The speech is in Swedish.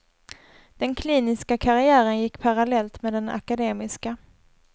Den kliniska karriären gick parallellt med den akademiska.